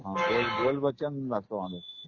हा बोल बोल बच्चन लागतो माणूस.